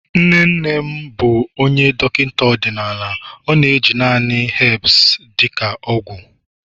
nne nne m bụ Dọkịta ọdịnala ọ na-eji naanị herbs dị ka ọgwụ